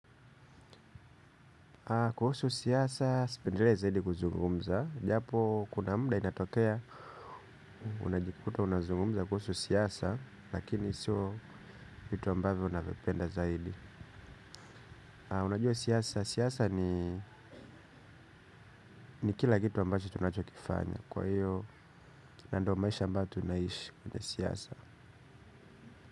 Kuhusu siasa, sipendelei zaidi kuzungumza, japo kuna muda inatokea, unajikuta unazungumza kuhusu siasa, lakini siyo vitu ambavyo unavipenda zaidi. Unajua siasa, siasa ni kila kitu ambacho tunachokifanya, kwa hiyo na ndo maisha ambayo tunaishi kwenye siasa.